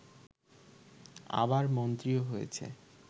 আবার মন্ত্রীও হয়েছে